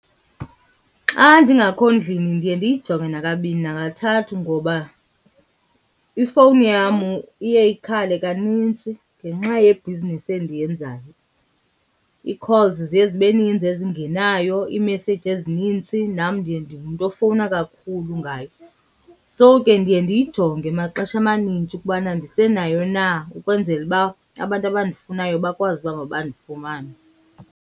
Xa ndingakho ndlini ndiye ndiyijonge nakabini nakathathu ngoba ifowuni yam iye ikhale kanintsi ngenxa yebhizinesi endiyenzayo. Ii-calls ziye zibe ninzi ezingenayo, iimeseyiji ezinintsi nam ndiye ndingumntu ofowuna kakhulu ngayo. So ke ndiye ndiyijonge maxesha amanintshi ukubana ndisenayo na ukwenzela uba abantu abandifunayo bakwazi uba mabandifumane.